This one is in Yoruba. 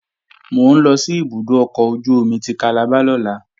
Mò ń lọ sí ibùdó ọkọ̀ ojú-omi ti Calabar lọ́la